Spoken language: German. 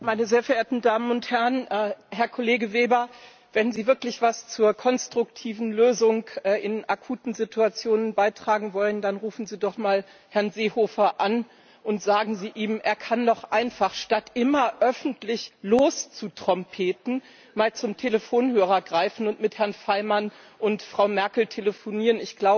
Herr Präsident, meine sehr verehrten Damen und Herren, Herr Kollege Weber! Wenn Sie wirklich etwas zur konstruktiven Lösung in akuten Situationen beitragen wollen, dann rufen Sie doch einmal Herrn Seehofer an und sagen Sie ihm, er kann noch einfach statt immer öffentlich loszutrompeten einmal zum Telefonhörer greifen und mit Herrn Faymann und Frau Merkel telefonieren.